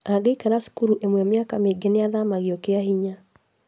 Angĩikara cukuru ĩmwe mĩaka mĩingĩ nĩathamagio kĩahinya